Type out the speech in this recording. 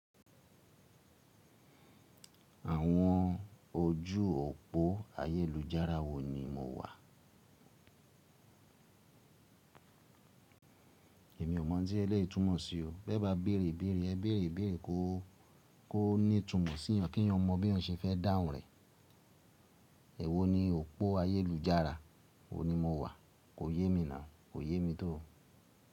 Àwọn ojú òpó ayélujára wo ni mo wà? Èmi ò mọ̀ tí ẹ lè túmọ̀ sí o. Bí ẹ bá béèrè béèrè ẹ béèrè béèrè kó ó ní ìtumọ̀ sí yan kí èèyàn mọ bí èèyàn ṣe fẹ́ dáhùn rẹ̀. Èwo ni òpó ayélujára? Wo ni mo wà? Ko yé mi ná. Ko yé mi to.